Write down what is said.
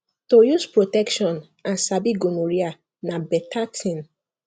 to use protection and sabi gonorrhea na better thing